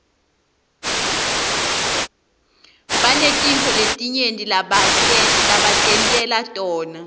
banetintfo letinyenti lebatentela tona